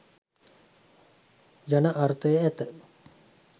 යන අර්ථය ඇත.